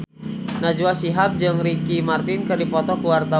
Najwa Shihab jeung Ricky Martin keur dipoto ku wartawan